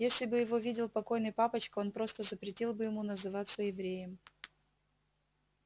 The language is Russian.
если бы его видел покойный папочка он просто запретил бы ему называться евреем